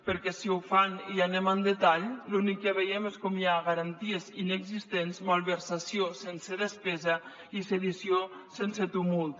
perquè si ho fan i anem al detall l’únic que veiem és com hi ha garanties inexistents malversació sense despesa i sedició sense tumult